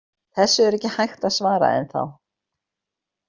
Þessu er ekki hægt að svara ennþá.